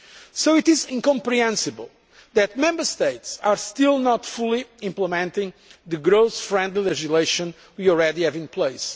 So it is incomprehensible that Member States are still not fully implementing the growth friendly legislation we already have in place.